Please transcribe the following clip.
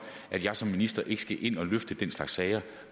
at jeg som minister ikke skal ind at løfte den slags sager